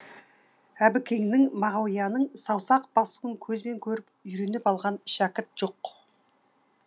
әбікеннің мағауияның саусақ басуын көзбен көріп үйреніп алған шәкірт жоқ